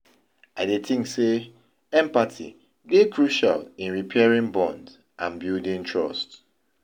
I dey think say empathy dey crucial in repairing bonds and building trust.